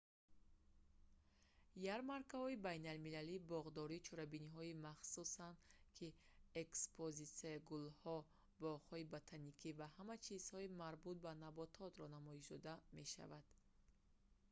ярмаркаҳои байналмилалии боғдорӣ чорабиниҳои махсусанд ки экспозитсияи гулҳо боғҳои ботаникӣ ва ҳама чизҳои марбут ба набототро намоиш дода мешаванд